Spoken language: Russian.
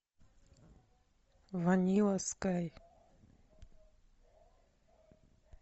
ванила скай